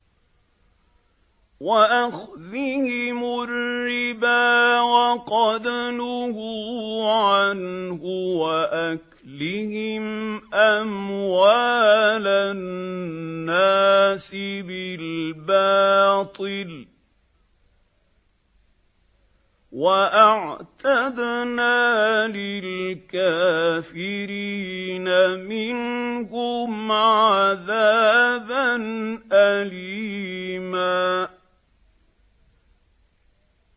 وَأَخْذِهِمُ الرِّبَا وَقَدْ نُهُوا عَنْهُ وَأَكْلِهِمْ أَمْوَالَ النَّاسِ بِالْبَاطِلِ ۚ وَأَعْتَدْنَا لِلْكَافِرِينَ مِنْهُمْ عَذَابًا أَلِيمًا